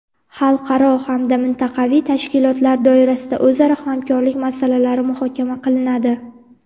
xalqaro hamda mintaqaviy tashkilotlar doirasidagi o‘zaro hamkorlik masalalari muhokama qilinadi.